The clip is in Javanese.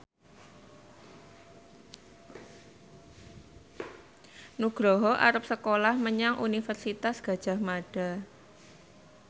Nugroho arep sekolah menyang Universitas Gadjah Mada